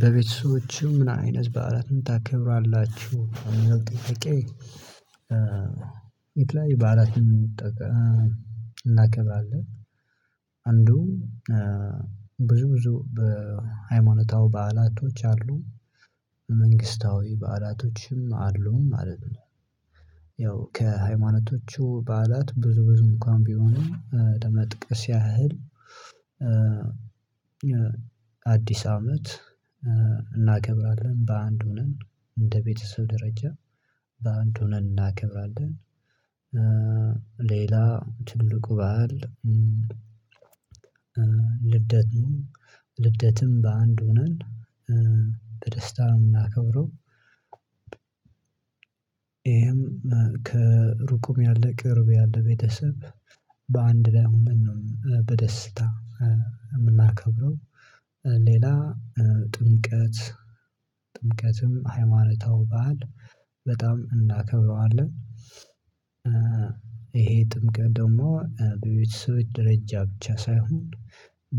በቤተሰቦችህ ምንአይነት በዓላት ምን ታከብራላችሁ ሚለው ጥያቄ? የተለያዩ በዓላትን እንጠ እ እናከብራለን። ብዙ ብዙ በ ሃይማኖታዊ በዓላቶች አሉ መንግስታዊ በዓላቶችም አሉ ማለት ነው። ያው ከሃይማኖቹ በዓላት ብዙ ብዙ እንኳን ቢሆንም ለመጥቀስ ያህል። አዲስ አመት እናከብራለን በአንድ ሆነን እንደ ቤተሰብ ደረጃ በአንድ ሆነን እናክብራለን። ሌላ ትልቁ ባህል። ልደት ነው ልደትም በአንድ ሆነን በደስታ ነው ምናከብረው አከብረው። ይሄም ከሩቅም ያለ ቅርብ ያለ ቤተሰብ በአንድ ላይ ሆነን ነው በደስታ የምናከብረው። ሌላ ጥምቀት ጥምቀትም ሃይማኖታዊ ባህል በጣም እናከብረዋለን። ይሄ ጥምቀት ደግሞ በቤተሰብ ደረጃ ብቻ ሳይሆን።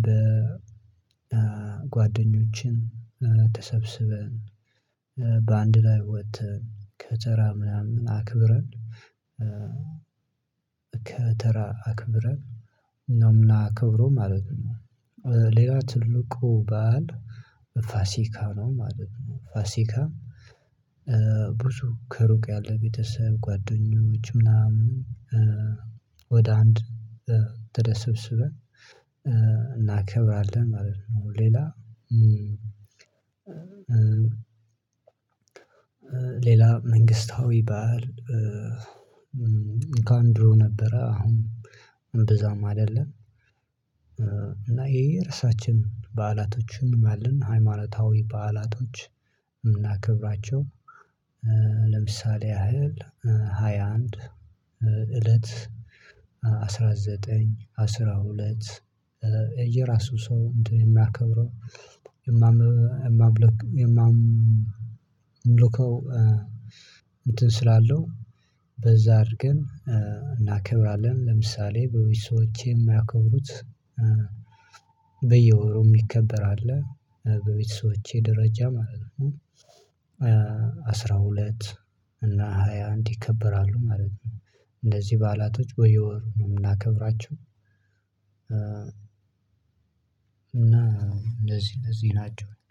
በጓደኞችም ተሰብስበን እ በአንድ ላይ ወጥተን ከተራ ምናምን አክብረን። ከተራ አክብረን ነው ምናከብረው ማለት ነው። ሌላ ትልቁ ባል ፋሲካ ነው ማለት ነው። ፋሲካም ብዙ ከሩቅ ያለ ቤተሰብ ጓደኞች ምናምን። ወደ አንድ ቦታ ተሰብስበን ማለት ነው። ሌላ ሌላ መንግስታዊ ባዓል። እንኳን ድሮ ነበረ አሁን እምብዛም አይደለም። እና ይሄ ርሳችን በዓላቶችን አለን ሃይማኖታዊ በዓላቶች እምናክብራቸው። ለምሳሌ ያህል ሃያ አንድ አንድ እለት አስራ ዘጠኝ አስራ ሁለት የየራሱ ሰው እንትን የማከብረው። የማምልከው እንትን ስላለው በዛ አድርገን እናከብራለን። ለምሳሌ በቤተሰቦቼ የማያከብሩት በየወሩ ሚከበር አለ በቤተሰቦቼ ደረጃ ማለት ነው። አስራ ሁለት እና ሃያ አንድ ይከበራሉ ማለት ነው። እንዚህ በዓላቶች በየወሩ ነው የምናከብራቸው። እና እንደዚህ እንደዚህ ናቸው